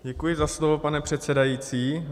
Děkuji za slovo, pane předsedající.